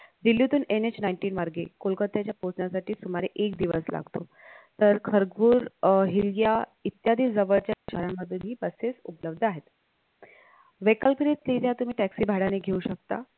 दिल्लीतून NH nineteen मार्गे कोलकाताच्या पोहचण्यासाठी सुमारे एक दिवस तर खर्रगुर्र अह हिरग्या इत्यादी जवळच्या चरण मधली busses उपलब्ध आहेत vehicles रित्या तुम्ही taxi भाड्याने घेऊ शकता